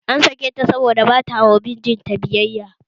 An sake ta ne saboda bata yi wa mijin ta biyayya